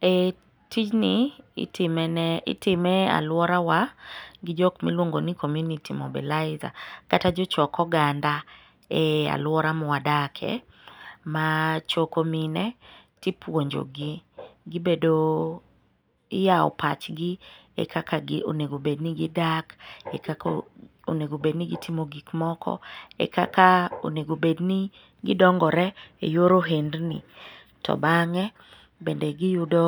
E tijni, itime e alworawa gi jok miluongo ni community mobilizer kata jochok oganda e alwora mwadakie, machoko mine ,tipuonjogi gibedo, iyawo pachgi kaka onego bed ni gidak, e kaka onego obed ni gitimo gik moko,e kaka onego bedni gidongore e yor ohendni. To bang'e be giyudo